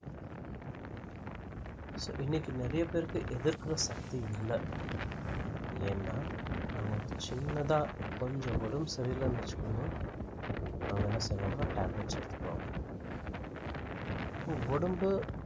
so இன்னைக்கு நெறையா பேருக்கு எதிர்க்குற சக்தி இல்ல ஏன்னா அவங்களுக்கு சின்னதா கொஞ்சம் உடம்புசரி இல்லன்னு வச்சுக்கோங்கோ அவங்க என்ன செய்வாங்கன்னா tablets எடுத்துக்குவாங்க அப்போ உடம்பு